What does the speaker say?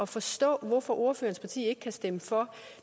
forstå hvorfor ordførerens parti ikke kan stemme for